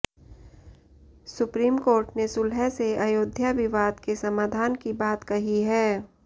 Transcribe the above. supreme court ने सुलह से अयोध्या विवाद के समाधान की बात कही है